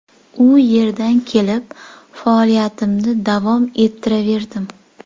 U yerdan kelib, faoliyatimni davom ettiraverdim.